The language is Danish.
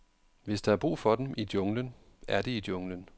Hvis der er brug for dem i junglen, er de i junglen.